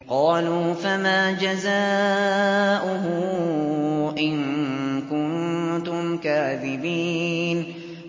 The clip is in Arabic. قَالُوا فَمَا جَزَاؤُهُ إِن كُنتُمْ كَاذِبِينَ